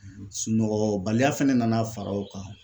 Sunɔgɔbaliya fana nana fara o kan